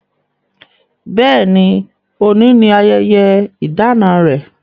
Bẹ́ẹ̀ ni, òní ni ayẹyẹ ìdána rẹ̀.